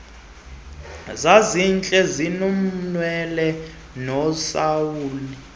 zazintle zinonwele unosaluni